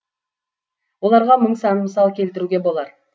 оларға мың сан мысал келтіруге болар